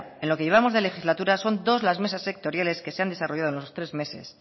en lo que llevamos de legislatura son dos las mesas sectoriales que se han desarrollando en estos tres meses